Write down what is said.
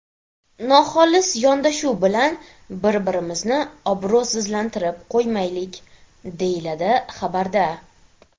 Noxolis yondashuv bilan bir-birimizni obro‘sizlantirib qo‘ymaylik”, deyiladi xabarda.